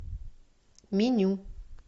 меню